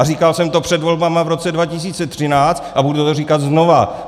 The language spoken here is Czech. A říkal jsem to před volbami v roce 2013 a budu to říkat znovu!